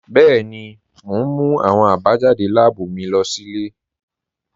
Bẹẹ̀ni, mo n mú awọn abajadé láàbú mí lọ sí ilẹ̀.